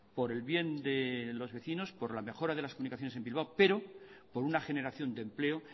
por el bien de los vecinos por la mejora de las comunicaciones en bilbao pero por una generación de empleo